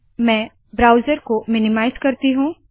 मैं ब्राउज़र को मिनीमाइज़ करती हूँ